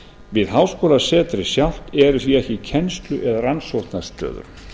við háskólasetrið sjálft eru því ekki kennslu eða rannsóknarstöður